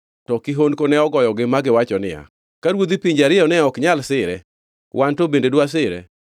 To kihondko ne ogoyogi magiwacho niya, “Ka ruodhi pinje ariyo ne ok nyal sire, wan to bende dwasire?”